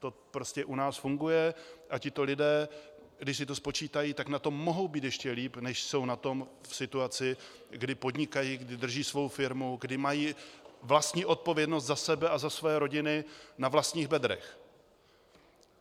To prostě u nás funguje a tito lidé, když si to spočítají, tak na tom mohou být ještě líp, než jsou na tom v situaci, kdy podnikají, kdy drží svou firmu, kdy mají vlastní odpovědnost za sebe a za svoje rodiny na vlastních bedrech.